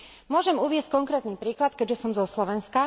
Môžem uviesť konkrétny príklad, keďže som zo Slovenska.